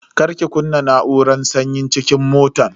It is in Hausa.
Kar ki kunna na'uran sanyin cikin motan.